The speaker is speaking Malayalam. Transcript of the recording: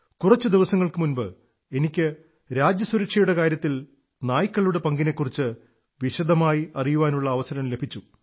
കുറച്ചു ദിവസങ്ങൾക്കു മുമ്പ് എനിക്ക് രാജ്യസുരക്ഷയുടെ കാര്യത്തിൽ നായ്ക്കളുടെ പങ്കിനെക്കുറിച്ച് വിശദമായി അിറയാനുള്ള അവസരം ലഭിച്ചു